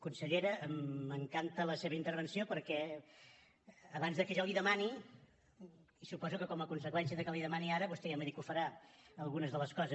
consellera m’encanta la seva intervenció perquè abans que jo li ho demani suposo que com a conseqüència que li ho demani ara vostè ja m’ha dit que farà algunes de les coses